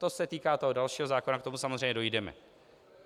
To se týká toho dalšího zákona, k tomu samozřejmě dojdeme.